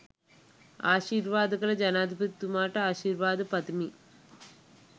ආශීර්වාද කළ ජනාධිපතිතුමාට ආශිර්වාද පතමින්